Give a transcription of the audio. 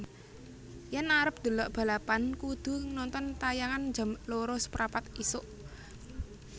Yen arep ndelok balapan kudu nonton tayangan jam loro seprapat isuk